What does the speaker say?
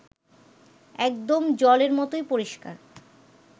একদম জলের মতোই পরিষ্কার